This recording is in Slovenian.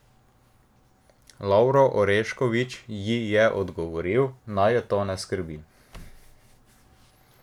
Lovro Orešković ji je odgovoril, naj je to ne skrbi.